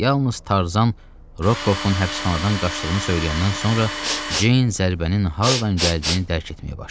Yalnız Tarzan Rokovun həbsxanadan qaçdığını söyləyəndən sonra Ceyn zərbənin hardan gəldiyini dərk etməyə başladı.